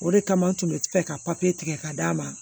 O de kama n tun bɛ fɛ ka papiye tigɛ ka d'a ma